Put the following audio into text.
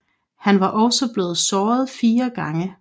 Han var også blevet såret fire gange